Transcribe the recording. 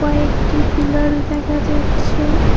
কয়েকটি পিলার্ল দেখা যাচ্ছে।